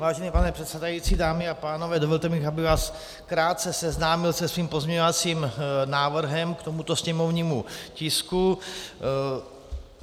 Vážený pane předsedající, dámy a pánové, dovolte mi, abych vás krátce seznámil se svým pozměňovacím návrhem k tomuto sněmovnímu tisku.